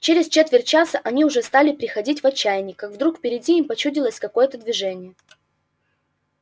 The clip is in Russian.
через четверть часа они уже стали приходить в отчаяние как вдруг впереди им почудилось какое-то движение